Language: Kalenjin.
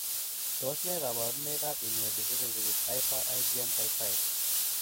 Tos nee koborunoikab Immunodeficiency with hyper IgM type 5?